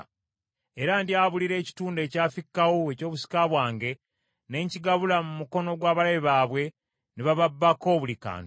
Era ndyabulira ekitundu ekyafikkawo eky’obusika bwange, ne nkigabula mu mukono gw’abalabe baabwe, ne bababbako buli kantu,